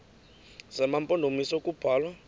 zema mpondomise kubalwa